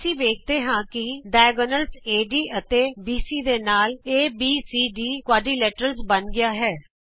ਅਸੀਂ ਵੇਖਦੇ ਹਾਂ ਕਿ ਵਿਕਰਣ ਏਡੀ ਅਤੇ ਬੀਸੀ ਦੇ ਨਾਲ ਏਬੀਸੀਡੀ ਚਤੁਰਭੁਜ ਬਣ ਗਿਆ ਹੈ